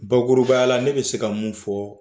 Bakurubaya la ne bɛ se ka mun fɔ